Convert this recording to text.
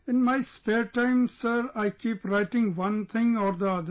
In my spare time sir, I keep writing one thing or the other